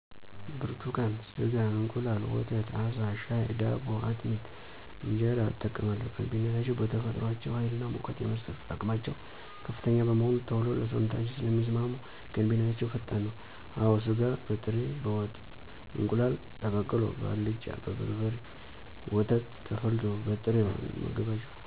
ብርቱካን, ስጋ፣ እንቁላል፣ ወተት፣ አሳ፣ ሻይ፣ ዳቦ፣ አጥሚት፣ እንጀራ እጠቀማለሁ, ገንቢነታቸዉ በተፈጥሮአቸዉ ሀይልና ሙቀት የመስጠት አቅማቸዉ ከፍተኛ በመሆኑ ቶሎ ለሰዉነታችን ስለሚስማሙ ገንቢነታቸዉ ፈጣን ነዉ። አወ ስጋ በጥሬ በወጥ፣ እንቁላል ተቀቅሎ፣ በአልጫ፣ በበርበሬ፣ ወተት ተፈልቶ፣ በጥሬዉ እንመገባቸዋለን።